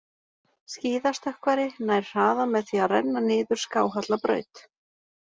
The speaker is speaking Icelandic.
Skíðastökkvari nær hraða með því að renna niður skáhalla braut.